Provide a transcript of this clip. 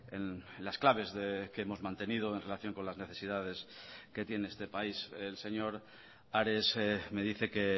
en las claves que hemos mantenido en relación con las necesidades que tiene este país el señor ares me dice que